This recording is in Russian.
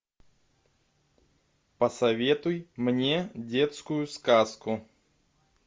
посоветуй мне детскую сказку